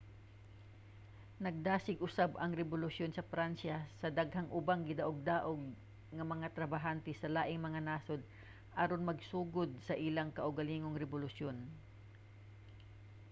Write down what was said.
nagdasig usab ang rebolusyon sa pransya sa daghang ubang gidaogdaog nga mga trabahante sa laing mga nasod aron magsugod sa ilang kaugalingong rebolusyon